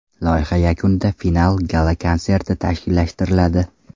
Loyiha yakunida final gala-konserti tashkillashtiriladi.